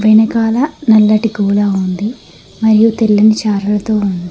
వెనకాల నల్లటి గోడ ఉంది మరియు తెల్లని చారలతో ఉంది.